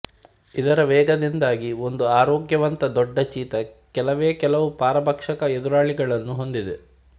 ಇದರ ವೇಗದಿಂದಾಗಿ ಒಂದು ಆರೋಗ್ಯವಂತ ದೊಡ್ಡ ಚೀತಾ ಕೆಲವೇ ಕೆಲವು ಪರಭಕ್ಷಕ ಎದುರಾಳಿಗಳನ್ನು ಹೊಂದಿದೆ